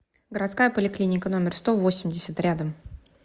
городская поликлиника номер сто восемьдесят рядом